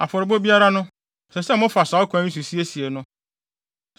Afɔrebɔde biara no, ɛsɛ sɛ mofa saa ɔkwan yi so siesie no.